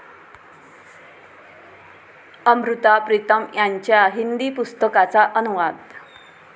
अमृता प्रीतम यांच्या हिंदी पुस्तकाचा अनुवाद